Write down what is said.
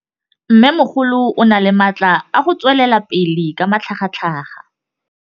Mmêmogolo o na le matla a go tswelela pele ka matlhagatlhaga.